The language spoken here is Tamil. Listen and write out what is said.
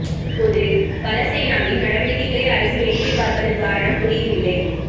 பொது பல சேனாவின் நடவடிக்கைகளை அரசு வேடிக்கை பார்ப்பதன் காரணம் புரியவில்லை